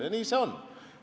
Ja nii see on.